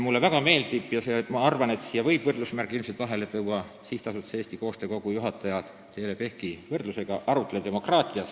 Mulle väga meeldib – ja ma arvan, et siia võib üldistavalt võrdusmärgi vahele panna – SA Eesti Koostöö Kogu juhataja Teele Pehki rõhuasetus ja võrdlus arutleva demokraatiaga.